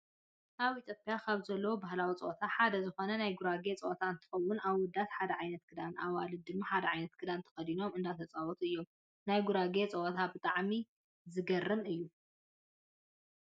ኣብ ኢትዮጵያ ካብ ዘለው ባህላዊ ፀወታ ሓደ ዝኮነ ናይ ጉራጌ ፀወታ እንትከውን ኣወዳት ሓደ ዓይነት ክዳን ኣዋልድ ድማ ሓደ ዓይነት ክዳን ተከዲኖም እንዳተፃወቱ እዮም። ናይ ጉራጌ ፀወታ ብጣዕሚ ዘገርም እዩ።